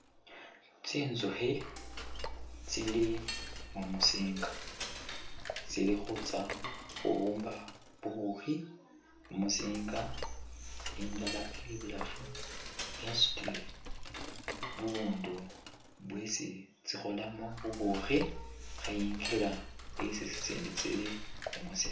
Tsinzukhi tsili mumusinga tsili khutsa khubumba bubukhi mumusinga, indala ili ibulaafu yasutile bubundu bwesi tsikhoolamo bubukhi kheyinga isi tsitsindi tsili mumusinga.